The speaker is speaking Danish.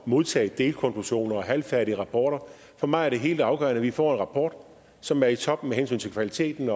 modtage delkonklusioner og halvfærdige rapporter for mig er det helt afgørende at vi får en rapport som er i top med hensyn til kvaliteten